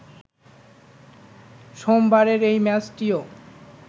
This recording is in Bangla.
সোমবারের এই ম্যাচটিও